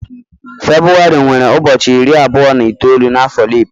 Febrụwarị nwere ụbọchị iri abụọ na itoolu n'afo leap.